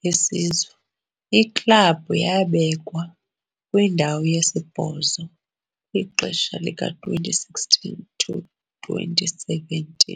beSizwe, iklabhu yabekwa kwindawo yesi-8 kwixesha le-2016-17.